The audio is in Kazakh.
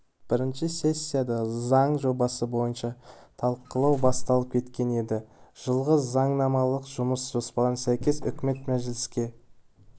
бірінші сессияда заң жобасы бойынша талқылау басталып кеткен еді жылғы заңнамалық жұмыс жоспарына сәйкес үкімет мәжіліске